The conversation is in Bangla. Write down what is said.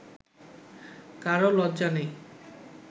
কারও লজ্জা নেই